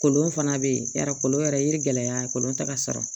Kolon fana bɛ yen yɔrɔ kolon yɛrɛ ye gɛlɛya ye kolon ta ka sɔrɔ